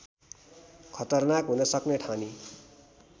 खतरनाक हुन सक्ने ठानी